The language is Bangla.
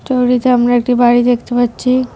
ছবিটিতে আমরা একটি বাড়ি দেখতে পাচ্ছি।